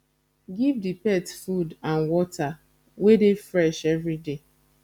give di pet food and water wey dey fresh everyday